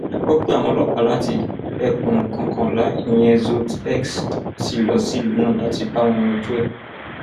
a gbọ pé àwọn ọlọpàá láti ẹkùn kọkànlá ìyẹn zọtẹ x ṣí lọ sílùú náà láti bá wọn yanjú ẹ